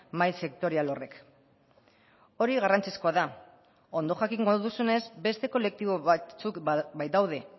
mahai sektorial horrek hori garrantzizkoa da ondo jakingo duzunez beste kolektibo batzuk baitaude